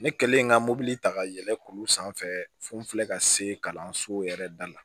Ne kɛlen ka mobili ta ka yɛlɛn k'olu sanfɛ foli ka se kalanso yɛrɛ da la